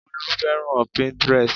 Bólú fẹ́ràn Pinterest